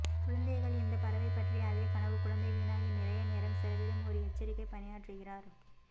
குழந்தைகள் இந்த பறவை பற்றி அதே கனவு குழந்தை வீணாகி நிறைய நேரம் செலவிடும் ஒரு எச்சரிக்கை பணியாற்றுகிறார்